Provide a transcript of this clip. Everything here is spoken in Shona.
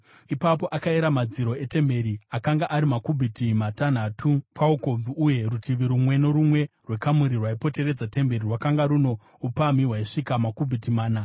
Ipapo akayera madziro etemberi; akanga ari makubhiti matanhatu paukobvu, uye rutivi rumwe norumwe rwekamuri rwaipoteredza temberi rwakanga runo upamhi hwaisvika makubhiti mana.